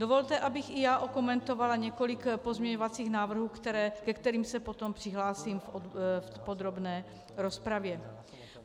Dovolte, abych i já okomentovala několik pozměňovacích návrhů, ke kterým se potom přihlásím v podrobné rozpravě.